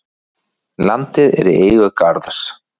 Landið er í eigu Garðs.